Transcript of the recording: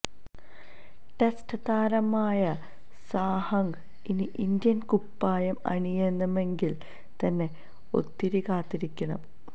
test താരമായ സാഹക്ക് ഇനി ഇന്ത്യന് കുപ്പായം അണിയണമെങ്കില് തന്നെ ഒത്തിരി കാത്തിരിക്കണം